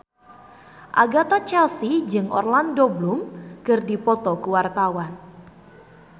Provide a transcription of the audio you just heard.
Agatha Chelsea jeung Orlando Bloom keur dipoto ku wartawan